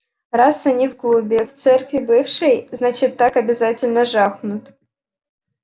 раз они в клубе в церкви бывшей значит так обязательно жахнут